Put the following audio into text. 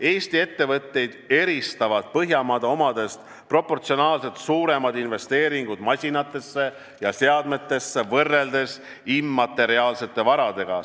Eesti ettevõtteid eristavad Põhjamaade omadest proportsionaalselt suuremad investeeringud masinatesse ja seadmetesse võrreldes immateriaalsete varadega.